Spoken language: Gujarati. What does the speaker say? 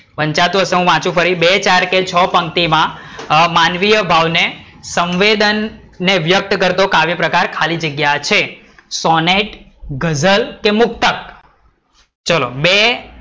પંચાયત હોય તો ફરી વાંચું, બે-ચાર કે છ પંક્તિ માં માનવીય ભાવ સંવેદન ને વ્યકત કરતો કાવ્યપ્રકાર ખાલી જગ્યા છે સોનેટ, ગઝલ કે મુક્તક? ચલો બે